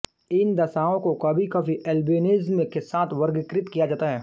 इन दशाओं को कभीकभी ऐल्बिनिज़म के साथ वर्गीकृत किया जाता है